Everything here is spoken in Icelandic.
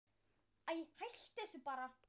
Æi, hættu þessu bara.